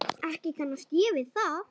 Ekki kannast ég við það.